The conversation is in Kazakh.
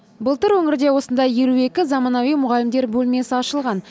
былтыр өңірде осындай елу екі заманауи мұғалімдер бөлмесі ашылған